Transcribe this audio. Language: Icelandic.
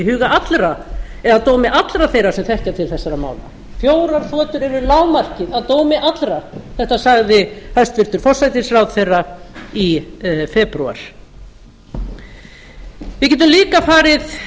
huga allra eða að dómi allra þeirra sem þekkja til þessara mála fjórar þotur eru lágmarkið að dómi allra þetta sagði hæstvirtur forsætisráðherra í febrúar við getum líka farið